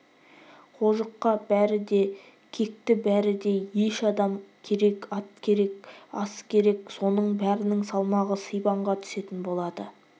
қожыққа бәрі де кекті бәрі де еш адам керек ат керек ас керек соның бәрінің салмағы сибанға түсетін болады